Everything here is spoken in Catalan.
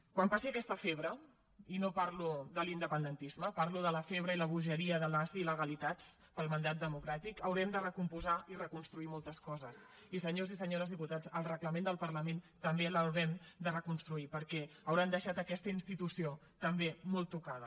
quan passi aquesta febre i no parlo de l’independentisme parlo de la febre i bogeria de les il·legalitats pel mandat democràtic haurem de recompondre i reconstruir moltes coses i senyors i senyores diputats el reglament del parlament també l’haurem de reconstruir perquè hauran deixat aquesta institució també molt tocada